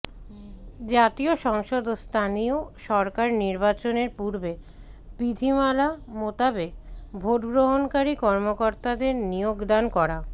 জাতীয় সংসদ ও স্থানীয় সরকার নির্বাচনের পূর্বে বিধিমালা মোতাবেক ভোটগ্রহণকারী কর্মকর্তাদের নিয়োগদান করা